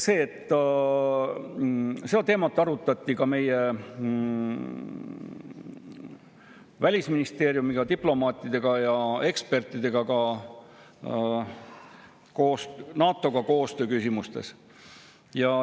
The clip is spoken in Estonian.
Seda teemat arutati ka Välisministeeriumiga, diplomaatide ja ekspertidega, ka NATO‑ga koostöö küsimustes.